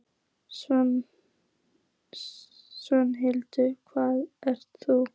Sighvatur: Hvað segir þú?